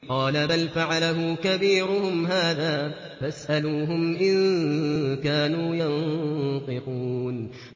قَالَ بَلْ فَعَلَهُ كَبِيرُهُمْ هَٰذَا فَاسْأَلُوهُمْ إِن كَانُوا يَنطِقُونَ